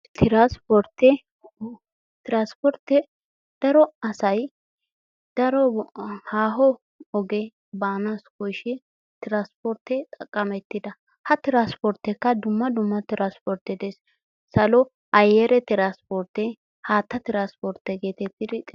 Tiransportee Tiransportee daro asay daro ahaa haaho oge baana koshee Tiransportee xaqametida ha Tiransporteekka dumma dumma Tiransportee de'ees, salo ayere Tiransportee haatta Tiransportee geetettid xeesetees.